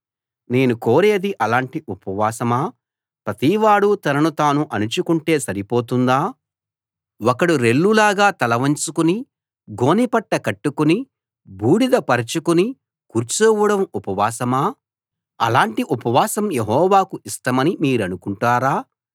నేను కోరేది అలాంటి ఉపవాసమా ప్రతివాడు తనను తాను అణుచుకుంటే సరిపోతుందా ఒకడు రెల్లులాగా తలవంచుకుని గోనెపట్ట కట్టుకుని బూడిద పరచుకుని కూర్చోవడం ఉపవాసమా అలాంటి ఉపవాసం యెహోవాకు ఇష్టమని మీరనుకుంటారా